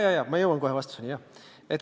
Jaa, ma jõuan kohe vastuseni.